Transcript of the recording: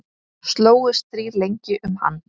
Slógust þrír lengi um hann.